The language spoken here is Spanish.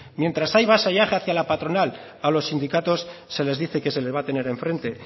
mientras hay vasallaje hacia la patronal a los sindicatos se les dice que se les va a tener enfrente